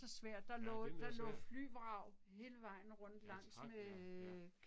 Ja den er svær. Ja tak ja, ja